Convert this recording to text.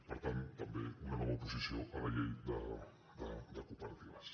per tant també una nova oposició a la llei de cooperatives